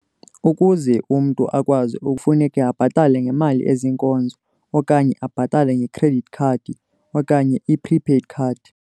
Ukuze umntu akwazi ukuzisebenzisa, kufuneka abhatale ngemali eziinkozo, okanye abhatale nge'credit' khadi, okanye i-'prepaid card'